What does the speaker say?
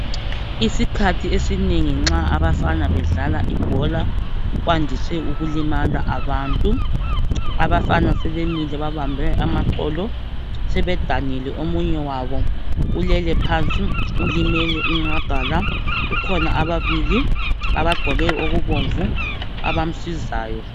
Isikhathi esinengi nxa abafana bedlala ibhola kwandise ukulimala abantu abafana sebemile babambe amaqolo sedanile omunye wabo ulele phansi ulimele inqagala kukhona ababili abagqoke okubomvu abamsizayo .